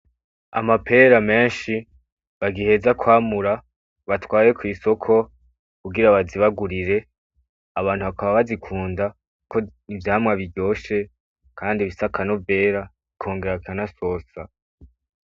Amapera menshi bagiheza kwamura batwaye kw'isoko kugira bazibagurire. Abantu bakaba bazikunda kuko ni ivyamwa biryoshe kandi bifise akanovera bikongera bikanasosa.